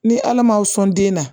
Ni ala ma sɔn den na